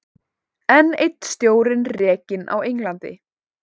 Enn einn stjórinn rekinn á Englandi